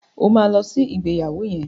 O ma lọ sí ìgbéyàwó yẹn!